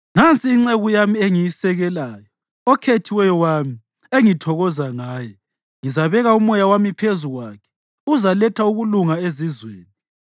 “Nansi inceku yami engiyisekelayo, okhethiweyo wami, engithokoza ngaye. Ngizabeka umoya wami phezu kwakhe, uzaletha ukulunga ezizweni.